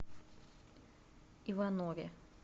иванове